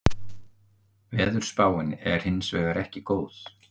Veðurspáin er hins vegar ekki góð